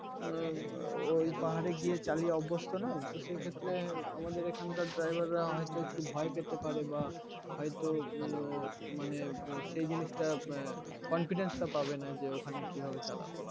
উম ওই পাহাড়ে গিয়ে চালিয়ে অভ্যস্ত নয় তো সে ক্ষেত্রে আমাদের এখানকার driver রা হয়তো একটু ভয় পেতে পারে বা হয়তো উম মানে সেই জিনিসটা এর confidence টা পাবেন যে ওখানে কিভাবে চালাবো